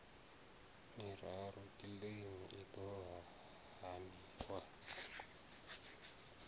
miraru kiḽeimi i ḓo haniwa